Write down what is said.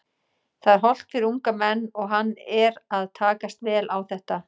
Það er hollt fyrir unga menn og hann er að takast vel á þetta.